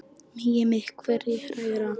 Megi mig hvergi hræra.